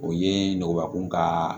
O ye nɔgɔnbakun ka